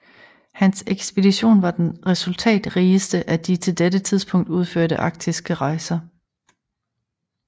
Hans ekspedition var den resultatrigeste af de til dette tidspunkt udførte arktiske rejser